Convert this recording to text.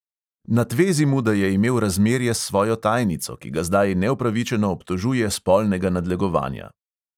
Natvezi mu, da je imel razmerje s svojo tajnico, ki ga zdaj neupravičeno obtožuje spolnega nadlegovanja.